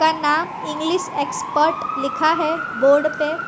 का नाम English expert लिखा है बोर्ड पे।